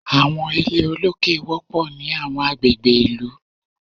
Àwọn ilé olókè wọpọ ni awọn agbegbe ìlú